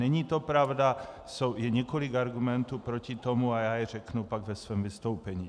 Není to pravda, je několik argumentů proti tomu a já je řeknu pak ve svém vystoupení.